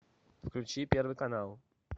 включи первый канал